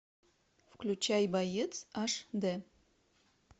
включай боец аш дэ